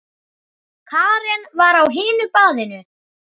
Karen var á hinu baðinu.